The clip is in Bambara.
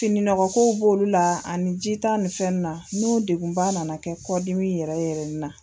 Fininɔgɔkow b'o la ani jita ninnu n'o degunba nana kɛ kɔ dimi yɛrɛ ye.